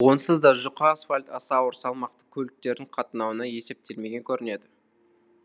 онсыз да жұқа асфальт аса ауыр салмақты көліктердің қатынауына есептелмеген көрінеді